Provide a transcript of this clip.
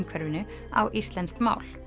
á íslenskt mál